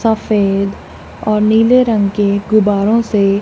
सफेद और नीले रंग के गुब्बारों से--